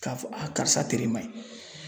K'a fɔ a karisa tere man ɲi